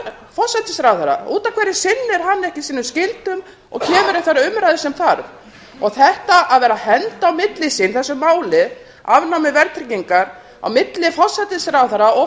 forsætisráðherra út af hverju sinnir hann ekki sínum skyldum og kemur í þær umræður sem þarf það að vera að henda á milli sín þessu máli afnámi verðtryggingar á milli forsætisráðherra og